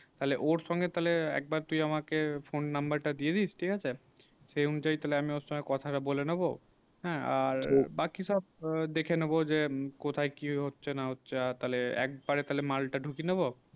তালে ওর সঙ্গে তালে একবার তুই আমাকে phone number তা দিয়ে দিস ঠিক আছে সেই উঁচায়ে আমি কথা তা বলে নেবো হেঁ আর বাকি সব দেখে নেবো যে কোথায় কি হচ্ছে না হচ্ছে আফার তালে এক পারে তালে মাল তা ঢুকি নেবো